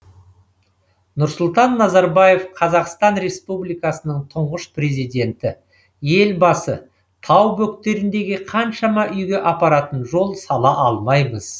нұрсұлтан назарбаев қазақстан республикасының тұңғыш президенті елбасы тау бөктеріндегі қаншама үйге апаратын жол сала алмаймыз